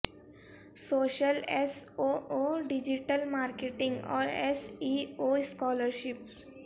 social S O O digital marketing اور S E O scholarship